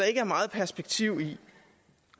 ikke er meget perspektiv i